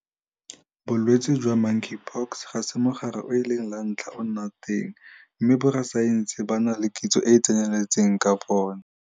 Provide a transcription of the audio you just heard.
Bolwetse jwa Monkeypox ga se mogare o e leng la ntlha o nna teng mme borasaense ba na le kitso e e tseneletseng ka bona.